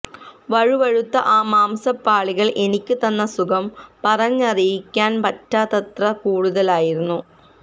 വഴുവഴുത്ത ആ മാംസപാളികള് എനിക്ക് തന്ന സുഖം പറഞ്ഞറിയിക്കാന് പറ്റാത്തത്ര കൂടുതലായിരുന്നു